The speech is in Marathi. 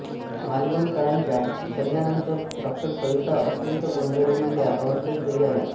मालवणकरांच्या सल्ल्यानंतर डॉ सविता अत्यंत गोंधळलेल्या अवस्थेत घरी आल्या